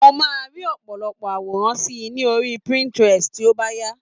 Mo máa rí òpòlopò àwòrán síi ní orí pinterest tí ó bà yà